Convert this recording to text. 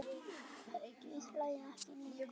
Við hlæjum ekki lengur.